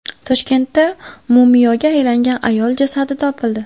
Toshkentda mumiyoga aylangan ayol jasadi topildi.